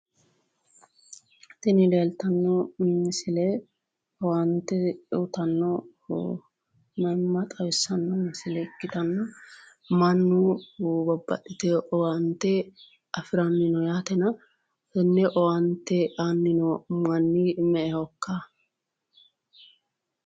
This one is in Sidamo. Tini leeltanno misile owaante uytanno manna xawissanno misile ikkitanna mannu babbaxxitino owaate afi'ranni no yaatena tenne owaante aanni no manni me"ehokka?